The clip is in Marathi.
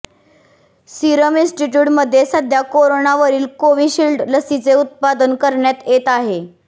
सिरम इन्स्टिट्युटमध्ये सध्या कोरोनावरील कोविशिल्ड लसीचे उत्पादन करण्यात येत आहे